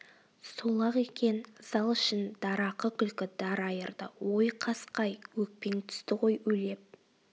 сол-ақ екен зал ішін дарақы күлкі дар айырды ой қасқа-ай өкпең түсті ғой улеп